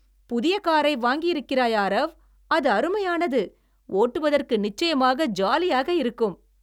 புதிய காரை வாங்கியிருக்கிறாய், ஆரவ்! அது அருமையானது, ஓட்டுவதற்கு நிச்சயமாக ஜாலியாக இருக்கும்.